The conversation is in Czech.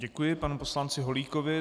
Děkuji panu poslanci Holíkovi.